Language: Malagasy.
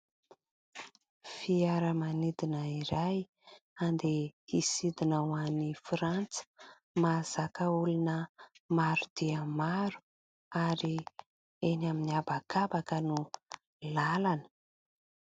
Fiaramanidina iray andeha hisidina ho any Frantsa, mahazaka olona maro dia maro ary eny amin'ny habakabaka no lalana.